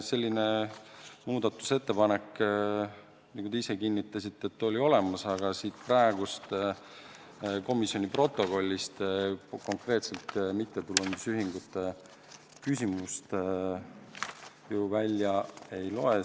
Selline muudatusettepanek, nagu te ka ise kinnitasite, oli olemas, aga komisjoni protokollist konkreetselt mittetulundusühingute küsimust ju välja ei loe.